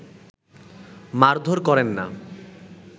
মারধোর করেন না